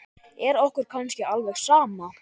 Er okkur kannski alveg sama?